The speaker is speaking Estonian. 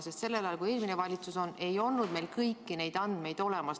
Sest sellel ajal, kui meil oli eelmine valitsus, ei olnud kõiki neid andmeid olemas.